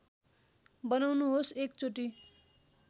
बनाउनुहोस् एक चोटी